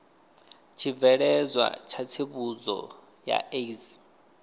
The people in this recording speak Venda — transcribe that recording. tshibveledzwa tsha tsivhudzo ya aids